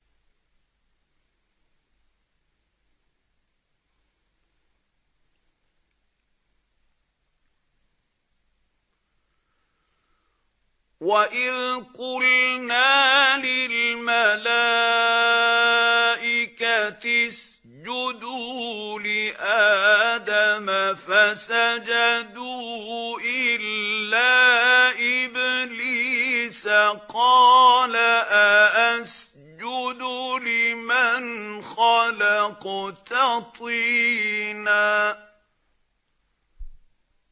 وَإِذْ قُلْنَا لِلْمَلَائِكَةِ اسْجُدُوا لِآدَمَ فَسَجَدُوا إِلَّا إِبْلِيسَ قَالَ أَأَسْجُدُ لِمَنْ خَلَقْتَ طِينًا